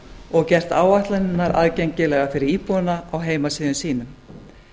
og gert áætlanirnar aðgengilegar fyrir íbúana á heimasíðum sínum